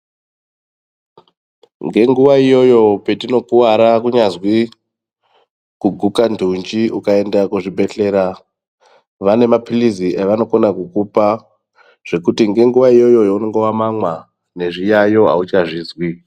Ngenguva iyoyo petinokuvara kunyazwi kuguka ndunji ukaenda kuzvibhedhlera vane maphirizi avanokona kukupa. Zvekuti ngenguva iyoyo yaunenge vamamwa nezviyayo hauchazvizwi.